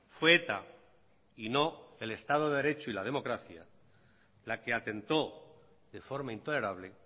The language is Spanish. fue eta y no el estado de derecho y la democracia la que atentó de forma intolerable